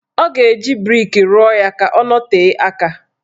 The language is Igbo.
Ọ ga-eji brik ruọ ya ka ọ nọtee aka.